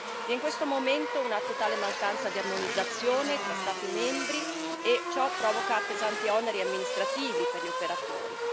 Vi è in questo momento una totale mancanza di armonizzazione tra Stati membri e ciò provoca pesanti oneri amministrativi per gli operatori.